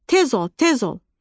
Tez ol, tez ol!"